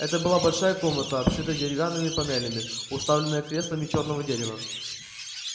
это была большая комната обшитая деревянными панелями уставленная креслами чёрного дерева